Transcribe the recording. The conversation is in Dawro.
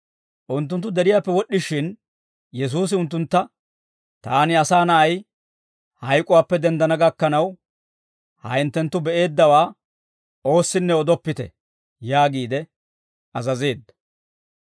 Unttunttu deriyaappe wod'd'ishin, Yesuusi unttuntta, «Taani Asaa Na'ay, hayk'uwaappe denddana gakkanaw, ha hinttenttu be"eeddawaa oossinne odoppite» yaagiide azazeedda.